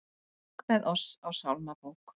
Söng með oss á sálmabók